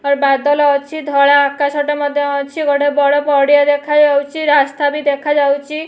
ଏଠାରେ ବାଦଲ ଅଛି। ଧଳା ଆକାଶଟେ ମଧ୍ୟ ଅଛି। ଗୋଟେ ବଡ ପଡିଆ ଦେଖାଯାଉଚି। ରାସ୍ତାବି ଦେଖାଯାଉଚି।